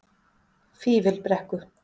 Fífilbrekku